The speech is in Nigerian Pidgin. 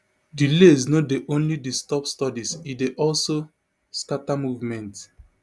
delays no dey only disturb studies e dey also scata movement